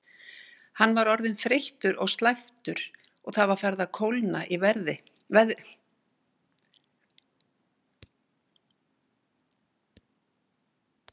Hann var orðinn þreyttur og slæptur og það var farið að kólna í veðri.